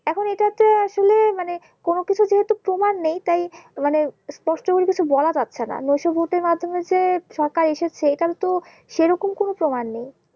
মানে কোনো কিছু যেহুতু প্রমান নেই তাই মানে স্পষ্ট ভাবে কিছু বলা যাচ্ছে না নেশ্বর্তী মাধ্যমে যে সরকার এসেছে এখানে তো সেরকম কোনো প্রমান নেই